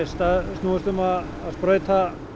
snúist um að sprauta